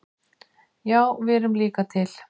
Já við erum líka til!